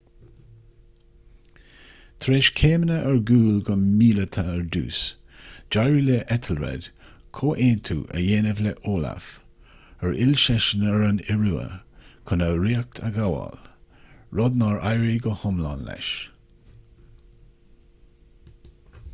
tar éis céimeanna ar gcúl go míleata ar dtús d'éirigh le ethelred comhaontú a dhéanamh le olaf ar fhill seisean ar an iorua chun a ríocht a ghabháil rud nár éirigh go hiomlán leis